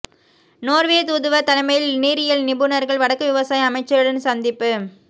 Norway தூதுவர் தலைமையில் நீரியல் நிபுணர்கள் வடக்கு விவசாய அமைச்சருடன் சந்திப்பு